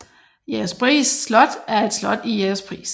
Jægerspris Slot er et slot i Jægerspris